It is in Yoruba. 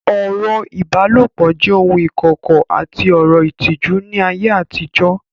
Ọ̀rọ̀ ìbálòpọ̀ jẹ́ ohun ìkọ̀kọ̀ àti ọ̀rọ̀ ìtìjú ní ayé àtijọ́